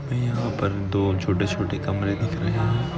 हमे यहा पर दो छोटे-छोटे कमरे दिख रहे है।